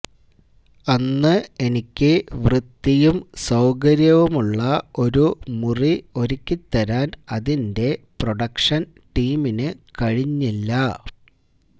അന്ന് എനിക്ക് വൃത്തിയും സൌകര്യവുമുള്ള ഒരു മുറി ഒരുക്കി തരാൻ അതിന്റെ പ്രൊഡക്ഷൻ ടീമിന് കഴിഞ്ഞില്ല